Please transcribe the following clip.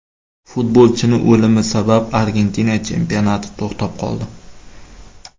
Futbolchining o‘limi sabab Argentina chempionati to‘xtab qoldi.